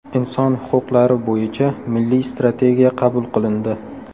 Inson huquqlari bo‘yicha Milliy strategiya qabul qilindi.